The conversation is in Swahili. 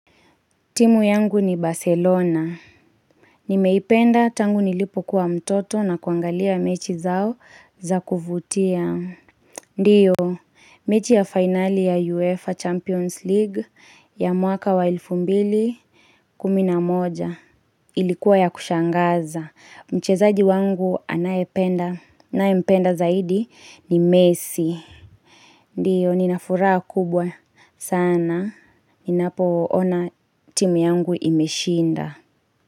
Timu yangu ni Barcelona. Nimeipenda tangu nilipo kuwa mtoto na kuangalia mechi zao za kuvutia. Ndiyo, mechi ya finali ya UEFA Champions League ya mwaka wa elfu mbili kumi na moja. Ilikuwa ya kushangaza. Mchezaji wangu ninayempenda zaidi ni Messi. Ndiyo, nina furaha kubwa sana. Ninapoona timu yangu imeshinda.